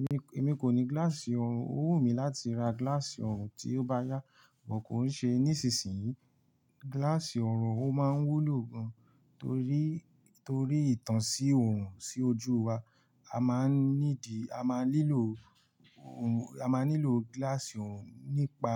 Èmi, èmi kò ní gíláàsì oọ̀rùn, ó wù mí láti ra gíláàsì ọ̀orùn tí ó bá yá, amo kò ṣe nísinsìnyí. Gíláàsì ọ̀rùn ó máa ń wúlò gan, torí, torí ìtàn sí ọ̀rùn sí ojú wa. A máa ń needì, a máa nílò ọ̀rùn, a máa nílò gíláàsì ọ̀rùn nípa